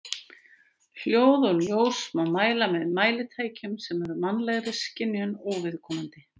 Hljóð og ljós má mæla með mælitækjum sem eru mannlegri skynjun óviðkomandi.